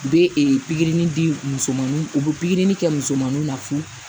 U bɛ pikiri di musomaninw u be pikiri kɛ musomaninw na fu